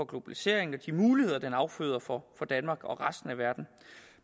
globaliseringen og de muligheder den afføder for danmark og resten af verden